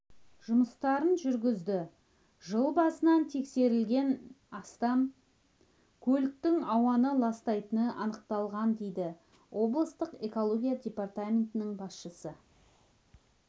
жұмыстарын жүргізді жыл басынан тексерілген астам көліктің ауаны ластайтыны анықталған дейді облыстық экология департаментінің басшысы